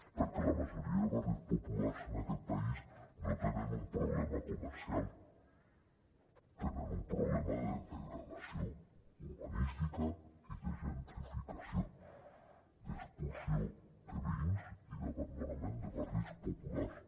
perquè la majoria de barris populars en aquest país no tenen un problema comercial tenen un problema de degradació urbanística i de gentrificació d’expulsió de veïns i d’abandonament de barris populars